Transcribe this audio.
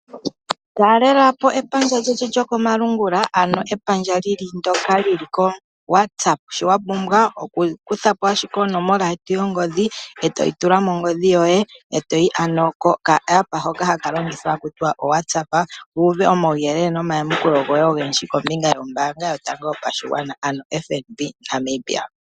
Talelapo epandja lyetu lyo komalungula ano kepandja lyo WhatsApp, shi wa pumbwa okukuthako ashike onomola yeti yongodhi , eto yi tula mongodhi yoye e to yi koka pandja kopawungomba hoka longithwathwa ha kutiwa o WhatsApp wu uve oma wuyelele nomayamakulo ogendji kombinga yombaanga yotango yopadhigwana ano FNB Namibia.